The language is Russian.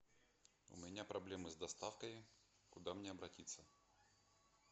у меня проблемы с доставкой куда мне обратиться